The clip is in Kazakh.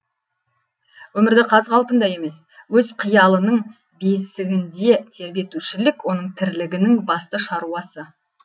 өмірді қаз қалпында емес өз қиялының бесігінде тербетушілік оның тірлігінің басты шаруасы